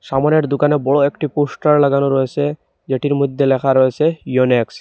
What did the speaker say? সামনের দোকানে বড় একটি পোস্টার লাগানো রয়েছে যেটির মধ্যে লেখা রয়েছে ইউনিক্স।